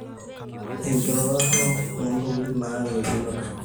enkiroroto oonntokitin nayau el nino torok